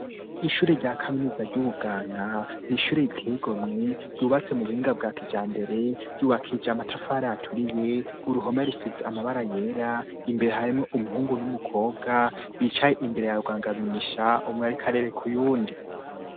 Ishuri rya kaminuza ry'ubuganga n'ishuri riteye igomwe ryubatse mu buhinga bwa kijambere ryubakishije amatafari aturiye uruhome rusize amabara yera imbere harimwo umuhungu n'umukobwa bicaye imbere ya rugangamisha umwe ariko arereka uyundi.